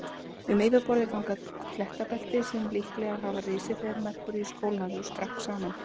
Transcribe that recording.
Um yfirborðið ganga klettabelti sem líklega hafa risið þegar Merkúríus kólnaði og skrapp saman.